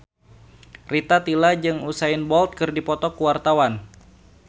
Rita Tila jeung Usain Bolt keur dipoto ku wartawan